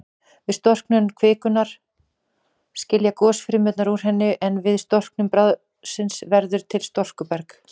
Við storknun kvikunnar skiljast gosgufurnar úr henni, en við storknun bráðsins verður til storkuberg.